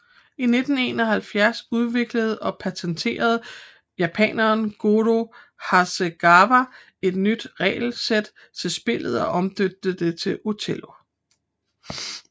I 1971 udviklede og patenterede japaneren Goro Hasegawa et nyt regelsæt til spillet og omdøbte det til Othello